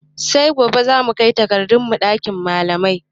Sai gobe zamu kai takardun mu ɗakin malamai